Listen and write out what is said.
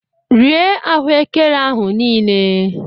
Rie ahuekere ahu niile!